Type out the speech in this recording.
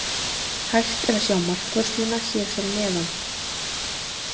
Hægt er að sjá markvörsluna hér fyrir neðan.